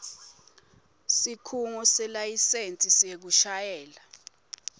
sikhungo selayisensi yekushayela